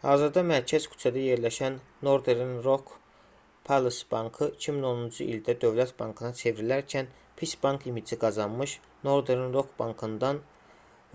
hazırda mərkəz küçədə yerləşən northern rock plc. bankı 2010-cu ildə dövlət bankına çevrilərkən pis bank imici qazanmış northern rock bankından